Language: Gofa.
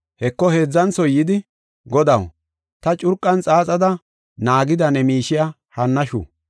“Heko heedzanthoy yidi, ‘Godaw, ta curqan xaaxada naagida ne miishiya hannashu.